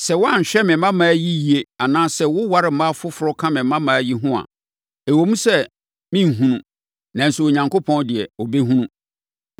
Sɛ woanhwɛ me mmammaa yi yie anaasɛ woware mmaa foforɔ ka me mmammaa yi ho a, ɛwom sɛ merenhunu, nanso Onyankopɔn deɛ, ɔbɛhunu.”